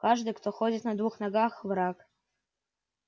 каждый кто ходит на двух ногах враг